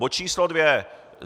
Bod číslo dvě.